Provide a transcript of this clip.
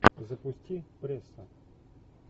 запусти пресса